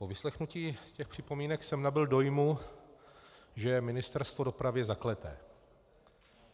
Po vyslechnutí těch připomínek jsem nabyl dojmu, že je Ministerstvo dopravy zakleté.